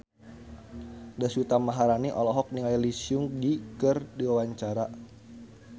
Deswita Maharani olohok ningali Lee Seung Gi keur diwawancara